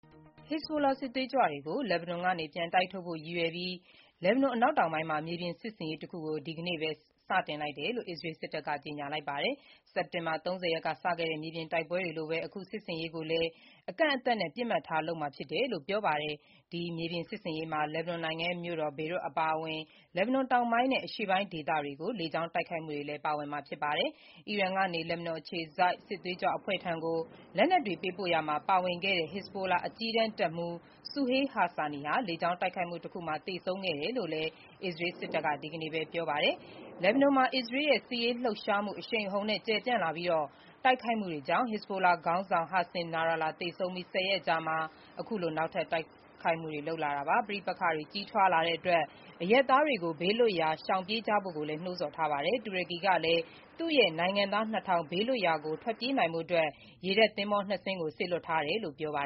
ဟစ်ဇ်ဘိုလာ စစ်သွေးကြွတွေကို နယ်စပ်ကနေ ပြန်တိုက်ထုတ်ဖို့ လက်ဘနွန် အနောက်တောင်ပိုင်းမှာ မြေပြင်စစ်ဆင်ရေးတခု ဒီနေ့ စတယ်လို့ အစ္စရေးစစ်တပ်က ကြေညာပါတယ်။ စက်တင်ဘာ ၃၀ ရက်က စခဲ့တဲ့ မြေပြင်တိုက်ပွဲတွေလိုပဲ အခုစစ်ဆင်ရေးကိုလည်း အကန့်အသတ်နဲ့ ပစ်မှတ်ထားလုပ်မှာဖြစ်တယ်လို့လည်း ပြောပါတယ်။ ဒီမြေပြင်စစ်ဆင်ရေးမှာ လက်ဘနွန်နိုင်ငံရဲ့ မြို့တော် ဘေရွတ်အပါအဝင် လက်ဘနွန်တောင်ပိုင်းနဲ့ အရှေ့ပိုင်း ဒေသတွေကို လေကြောင်းတိုက်ခိုက်မှုတွေလည်း ပါဝင်မှာပါ။ တချိန်တည်းမှာပဲ အီရန်ကနေ လက်ဘနွန်အခြေစိုက် စစ်သွေးကြွအဖွဲ့ဆီကို လက်နက်တွေပေးပို့ရာမှာ ပါဝင်ခဲ့တဲ့ ဟစ်ဇ်ဘိုလာ အကြီးတန်း တပ်မှူး Suhail Husseini ဟာ လေကြောင်းတိုက်ခိုက်မှုတခုမှာ သေဆုံးခဲ့တယ်လို့လည်း အစ္စရေး စစ်တပ်က ဒီနေ့ပဲ ပြောပါတယ်။ လက်ဘနွန်မှာ အစ္စရေးရဲ့ စစ်ရေးလှုပ်ရှားမှု အရှိန်အဟုန်နဲ့ ကျယ်ပြန့်လာပြီး တိုက်ခိုက်မှုတွေကြောင့် ဟစ်ဇ်ဘိုလာ ခေါင်းဆောင် Hassan Nasrallah သေဆုံးပြီး ၁၀ ရက်အကြာမှာ အခုလို နောက်ထပ် တိုက်ခိုက်မှုတွေ လုပ်လာတာပါ။ ပဋိပက္ခတွေ ကြီးထွားလာတဲ့အတွက် အရပ်သားတွေကို ဘေးလွတ်ရာရှောင်ပြေးကြဖို့ကိုလည်း နှိုးဆော်ထားပါတယ်။ တူရကီကလည်း သူ့ရဲ့ နိုင်ငံသား ၂ ထောင် ဘေးလွတ်ရာကို ထွက်ပြေးနိုင်ဖို့အတွက် ရေတပ်သင်္ဘော ၂ စင်းကို စေလွှတ်ထားတယ်လို့ ပြောပါ